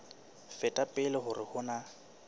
feta pele hore ho na